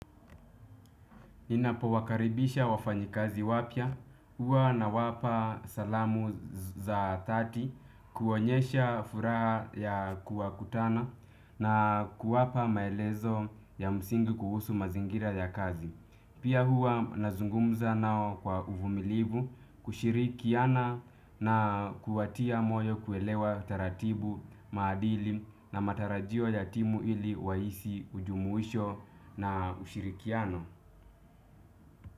Ninapowakaribisha wafanyikazi wapya, huwa nawapa salamu za dhati, kuonyesha furaha ya kuwakutana na kuwapa maelezo ya msingi kuhusu mazingira ya kazi. Pia huwa nazungumza nao kwa uvumilivu kushirikiana na kuwatia moyo kuelewa taratibu maadili na matarajio ya timu ili wahisi ujumuisho na ushirikiano.